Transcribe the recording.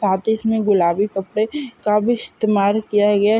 साथ ही इसमे गुलाबी कपडे का भी इस्तेमाल किया गया हैं।